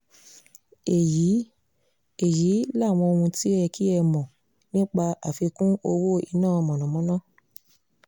èyí èyí làwọn ohun tó yẹ kí ẹ mọ̀ nípa àfikún owó iná mọ̀nàmọ́ná